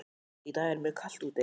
Í dag er mjög kalt úti.